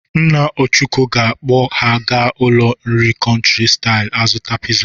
Nna Ọchụko ga-akpọ ha aga ụlọ nri Country style azụta piza.